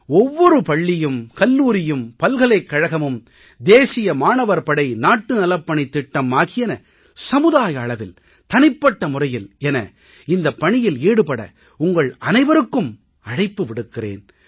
ஒவ்வொரு பள்ளியும் கல்லூரியும் பல்கலைக்கழகமும் தேசிய மாணவர் படை நாட்டு நலப்பணித் திட்டம் ஆகியன சமுதாய அளவில் தனிப்பட்ட முறையில் என இந்தப் பணியில் ஈடுபட உங்கள் அனைவருக்கும் அழைப்பு விடுக்கிறேன்